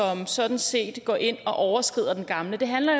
sådan set går ind og overskrider den gamle det handler